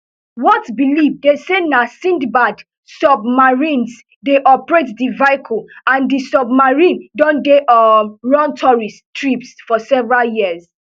whatbelieve dey say na sindbad submarines dey operate di vehicle and di submarine don dey um run tourist trips for several years